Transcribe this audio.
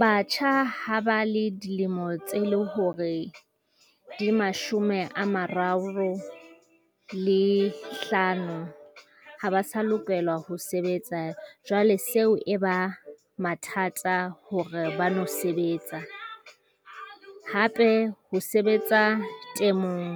Batjha ha ba le dilemo tse leng hore di mashome a mararo le hlano ha ba sa lokelwa ho sebetsa jwale seo e ba mathata hore ba no sebetsa. Hape ho sebetsa temong